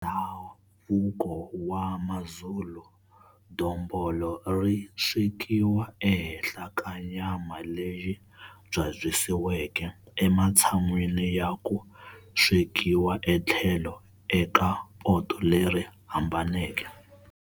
Ndhavuko wa Mazulu, dombolo ri swekiwa ehenhla ka nyama leyi byabyisiweke ematshan'wini ya ku swekeriwa etlhelo eka poto leri hambaneke.